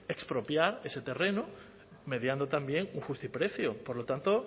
expropiar ese terreno mediando también un justiprecio por lo tanto